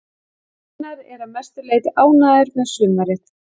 Gunnar er að mestu leiti ánægður með sumarið.